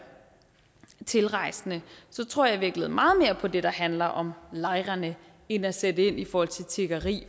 tilrejsende tror jeg i virkeligheden meget mere på det der handler om lejrene end at sætte ind i forhold til tiggeri